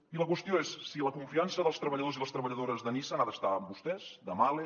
i la qüestió és si la confiança dels treballadors i les treballadores de nissan ha d’estar amb vostès de mahle